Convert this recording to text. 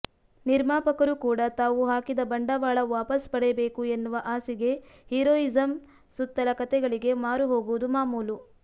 ನಿರ್ಮಾಪಕರು ಕೂಡ ತಾವು ಹಾಕಿದ ಬಂಡವಾಳ ವಾಪಸ್ ಪಡೆಯಬೇಕು ಎನ್ನುವ ಆಸೆಗೆ ಹೀರೋಯಿಸಂ ಸುತ್ತಲ ಕತೆಗಳಿಗೆ ಮಾರು ಹೋಗುವುದು ಮಾಮೂಲು